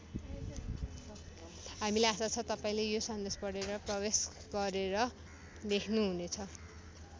हामीलाई आशा छ तपाईँले यो सन्देश पढेर प्रवेश गरेर लेख्नुहुनेछ।